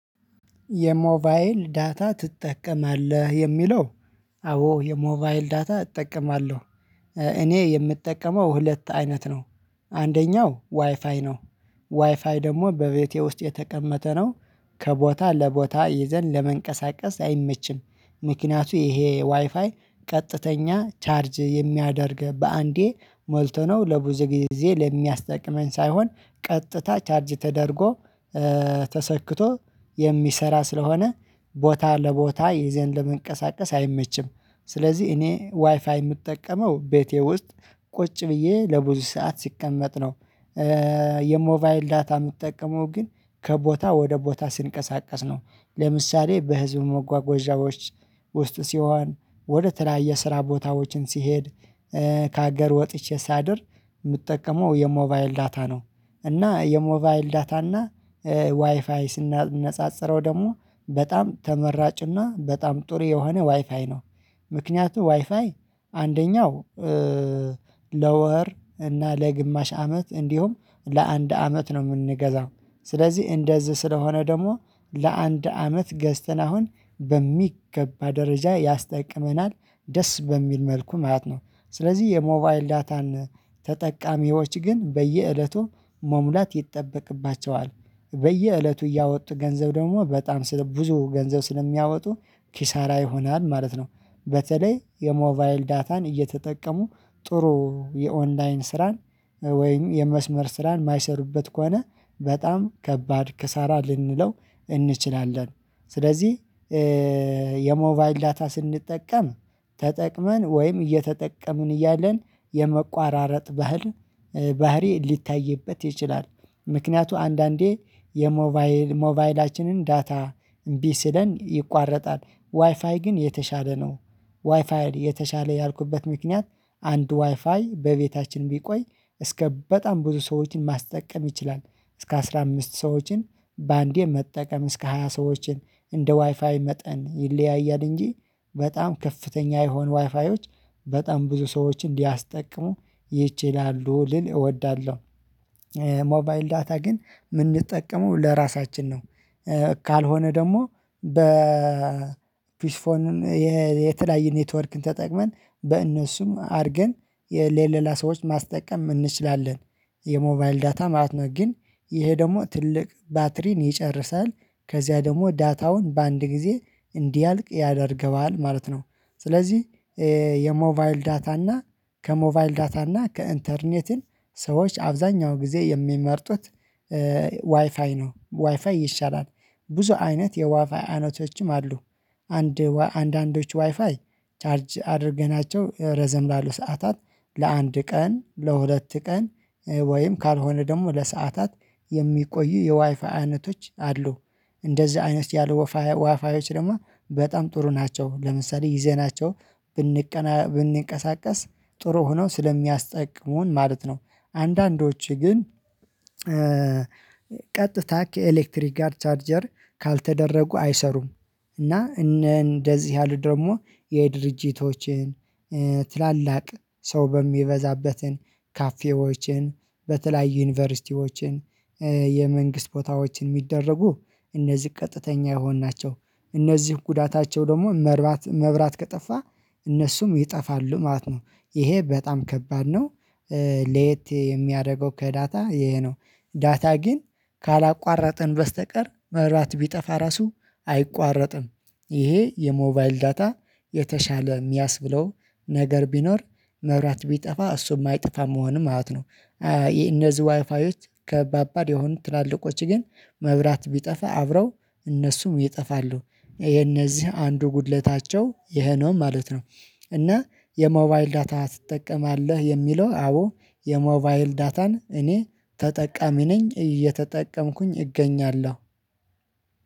የሞባይል ዳታ ትጠቀማለህ የሚለው? አዎ የሞባይል ዳታ እጠቀማለሁ። እኔ የምጠቀመው ሁለት አይነት ነው። አንደኛው ዋይፋይ ነው። ዋይፋይ ደግሞ በቤቴ ውስጥ የተቀመጠ ነው። ከቦታ ለቦታ ይዘን ለመንቀሳቀስ አይመችም ምክንያቱ ይሄ ዋይፋይ ቀጥተኛ ቻርጅ የሚያደርግ በአንዴ ሞልቶ ነው ለብዙ ጊዜ ለሚያስጠቅመን ሳይሆን ቀጥታ ቻርጅ ተደርጎ ተሰክቶ የሚሰራ ስለሆነ ቦታ ለቦታ ይዘን ለመንቀሳቀስ አይመችም። ስለዚህ እኔ ዋይፋይ የምጠቀመው ቤቴ ውስጥ ቁጭ ብዬ ለብዙ ሰዓት ሲቀመጥ ነው። የሞባይል ዳታ ምትጠቀመው ግን ከቦታ ወደ ቦታ ስንቀሳቀስ ነው። ለምሳሌ በህዝብ መጓጓዣዎች ውስጥ ሲሆን ወደ ተለያየ ስራ ቦታዎችን ሲሄድ ከሀገር ወጥቼ ሳድር ምጠቀመው የሞባይል ዳታ ነው። እና የሞባይል ዳታ እና ዋይፋይ ስናነጻጽረው ደግሞ በጣም ተመራጭና በጣም ጥሩ የሆነ ዋይፋይ ነው። ምክንያቱም ዋይፋይ አንደኛው ለወር እና ለግማሽ አመት እንዲሁም ለአንድ አመት ነው የምንገዛው ስለዚህ እንደዚህ ስለሆነ ደግሞ ለአንድ አመት ገዝተን አሁን በሚገባ ደረጃ ያስጠቅመናል ደስ በሚል መልኩ ማለት ነው። ስለዚህ የሞባይል ዳታን ተጠቃሚዎች ግን በየእለቱ መሙላት ይጠበቅባቸዋል በየእለቱ እያወጡ ገንዘብ ደግሞ በጣም ብዙ ገንዘብ ስለሚያወጡ ኪሳራ ይሆናል ማለት ነው። በተለይ የሞባይል ዳታን እየተጠቀሙ ጥሩ የኦንላይን ስራን ወይም የመስመር ስራን ማይሰሩበት ከሆነ በጣም ከባድ ክሳራ ልንለው እንችላለን። ስለዚህ የሞባይል ዳታ ስንጠቀም ተጠቅመን ወይም እየተጠቀምን እያለን የመቋራረጥ ባህል ባህሪ ሊታይበት ይችላል። ምክንያቱ አንዳንዴ የሞባይል ሞባይላችንን ዳታ እምቢ ስለን ይቋረጣል ዋይፋይ ግን የተሻለ ነው። ዋይፋይ የተሻለ ያልኩበት ምክንያት አንድ ዋይፋይ በቤታችን ቢቆይ እስከ በጣም ብዙ ሰዎችን ማስጠቀም ይችላል እስከ አስራ አምስት ሰዎችን በአንዴ መጠቀም እስከ ሃያ ሰዎችን እንደ ዋይፋይ መጠን ይለያያል እንጂ በጣም ከፍተኛ የሆኑ ዋይፋዮች በጣም ብዙ ሰዎችን እንዲያስጠቅሙ ይችላሉ ልል እወዳለሁ። ሞባይል ዳታ ግን ምንጠቀመው ለራሳችን ነው። ካልሆነ ደግሞ በ ፒስፎን የተለያየ ኔትወርክን ተጠቅመን በእነሱም አድርገን የለሌላ ሰዎች ማስጠቀም እንችላለን። የሞባይል ዳታ ማለት ነው ግን ይሄ ደግሞ ትልቅ ባትሪን ይጨርሳል። ከዚያ ደግሞ ዳታውን በአንድ ጊዜ እንዲያልቅ ያደርገዋል ማለት ነው። ስለዚህ የሞባይል ዳታ እና ከሞባይል ዳታ እና ከኢንተርኔትን ሰዎች አብዛኛው ጊዜ የሚመርጡት ዋይፋይ ነው ዋይፋይ ይሻላል። ብዙ አይነት የዋይፋይ አይነቶችም አሉ። አንድ አንዳንዶች ዋይፋይ ቻርጅ አድርገናቸው ረዘም ላሉ ሰዓታት ለአንድ ቀን ለሁለት ቀን ወይም ካልሆነ ደግሞ ለሰአታት የሚቆዩ የዋይፋ አይነቶች አሉ። እንደዚህ አይነት ያሉ ዋይፋዎች ደግሞ በጣም ጥሩ ናቸው ለምሳሌ ይዘናቸው ብንቀና ብንቀሳቀስ ጥሩ ሆነው ስለሚያስጠቅሙን ማለት ነው። አንዳንዶችህ ግን ቀጥታ ከኤሌክትሪክ አር ቻርጀር ካልተደረጉ አይሰሩም። እና እንደዚህ ያሉት ደግሞ የድርጅቶችን ትላላቅ ሰው በሚበዛበትን ካፌዎችን በተለያዩ ዩኒቨርሲቲዎችን የመንግስት ቦታዎችን ሚደረጉ እነዚህ ቀጥተኛ የሆንናቸው እነዚህ ጉዳታቸው ደግሞ መርባት መብራት ከጠፋ እነሱም ይጠፋሉ ማለት ነው። ይሄ በጣም ከባድ ነው። ሌት የሚያደርገው ከዳታ ይሄ ነው ዳታ ግን ካላቋረጠን በስተቀር መብራት ቢጠፋ ራሱ አይቋረጥም። ይሄ የሞባይል ዳታ የተሻለ ሚያስብለው ነገር ቢኖር መብራት ቢጠፋ እሱ የማይጠፋ መሆን ማለት ነው። እነዚህ ዋይፋዮች ከባባድ የሆኑ ትላልቆች ግን መብራት ቢጠፋ አብረው እነሱም ይጠፋሉ የነዚህ አንዱ ጉድለታቸው ይሄ ነው ማለት ነው። እና የሞባይል ዳታ ትጠቀማለህ የሚለው? አዎ የሞባይል ዳታን እኔ ተጠቃሚ ነኝ እየተጠቀምኩኝ እገኛለሁ።